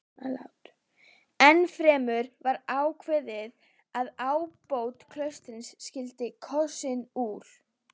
Ennfremur var ákveðið að ábóti klaustursins skyldi kosinn úr